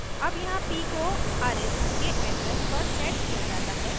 अब यहाँ p को arith के address पर set किया जाता है